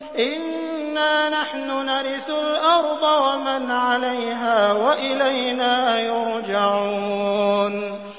إِنَّا نَحْنُ نَرِثُ الْأَرْضَ وَمَنْ عَلَيْهَا وَإِلَيْنَا يُرْجَعُونَ